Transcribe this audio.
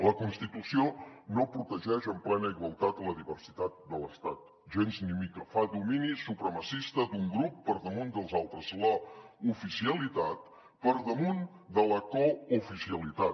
la constitució no protegeix en plena igualtat la diversitat de l’estat gens ni mica fa domini supremacista d’un grup per damunt dels altres l’oficialitat per damunt de la cooficialitat